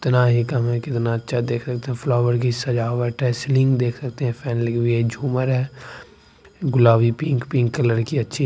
उतना ही कम है कितना अच्छा देख सकते है फ्लावर की सजावट है सीलिंग देख सकते है फैन लगी हुई है झूमर हैगुलाबी पिंक -पिंक कलर की अच्छी---